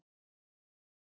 Mæli með!